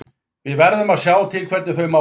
Við verðum að sjá til hvernig þau mál fara.